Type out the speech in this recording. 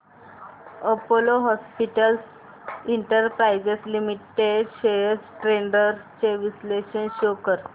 Apollo Hospitals Enterprise Limited shares trends चे विश्लेषण show कर